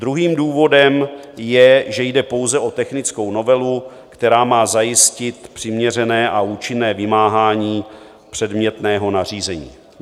Druhým důvodem je, že jde pouze o technickou novelu, která má zajistit přiměřené a účinné vymáhání předmětného nařízení.